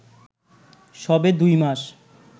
সবে দুই মাস